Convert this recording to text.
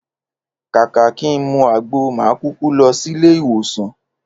Kàkà kí n mu àgbo, mà á kuku lo̩ sílé ìwòsàn